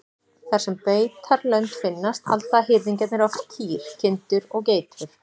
Þar sem beitarlönd finnast halda hirðingjarnir oft kýr, kindur og geitur.